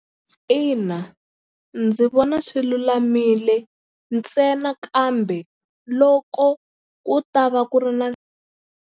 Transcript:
Ina ndzi vona swi lulamile ntsena kambe loko ku ta va ku ri na.